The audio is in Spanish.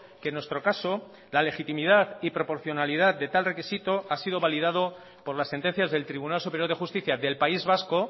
que en nuestro caso la legitimidad y proporcionalidad de tal requisito ha sido validado por las sentencias del tribunal superior de justicia del país vasco